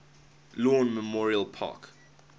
lawn memorial park